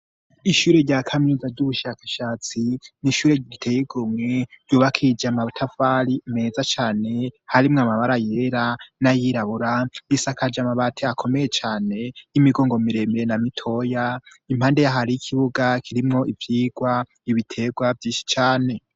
Ishure rya kaminuza ry'ubushakashatsi, ni ishure riteye igomwe, ryubakishije amatafari meza cane, harimwo amabara yera, n'ayirabura, risakaje amabati akomeye cane, y'imigongo miremire na mitoya, impande ya ho hariho ikibuga, kirimwo ivyigwa, ibitegwa vyinshi cane.